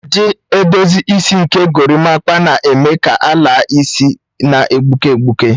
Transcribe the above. Ụdị edozi isi nke gorimakpa na-eme ka ala isi na-egbuke egbuke.